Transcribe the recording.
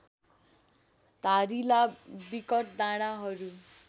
धारिला बिकट डाँडाहरू